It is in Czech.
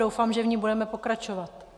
Doufám, že v ní budeme pokračovat.